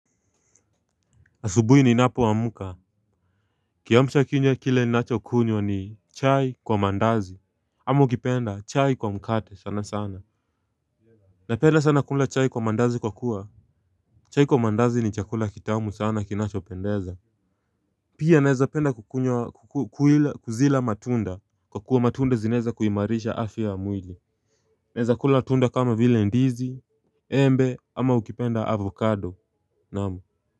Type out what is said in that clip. Asubuhi ninapo amka kiamsha kinywa kile nachokunywa ni chai kwa mandazi ama ukipenda chai kwa mkate sana sana. Napenda sana kula chai kwa mandazi kwa kuwa, chai kwa mandazi ni chakula kitamu sana kinachopendeza. Pia naeza penda kukunywa, kuzila matunda kwa kuwa matunda zinaweza kuimarisha afya ya mwili. Naeza kula tunda kama vile ndizi, embe ama ukipenda avocado, naam.